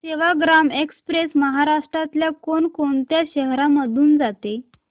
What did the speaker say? Sevagram express महाराष्ट्रातल्या कोण कोणत्या शहरांमधून जाते